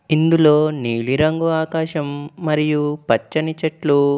ఇందులో నీలి రంగు ఆకాశం మరియు పచ్చని చెట్లు--